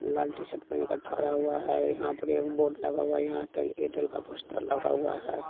लाल T shirt में ठहरा हुआ है यहाँ पर एक बोर्ड लगा हुआ है यहाँ एयरटेल का पोस्टर लगा हुआ है।